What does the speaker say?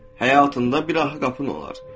Həyatında bir arxa qapın olar.